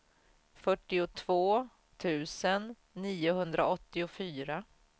fyrtiotvå tusen niohundraåttiofyra